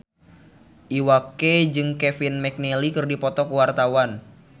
Iwa K jeung Kevin McNally keur dipoto ku wartawan